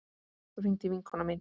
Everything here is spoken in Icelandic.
Svo hringdi vinkona mín.